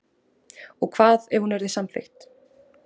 Og hvað ef hún yrði samþykkt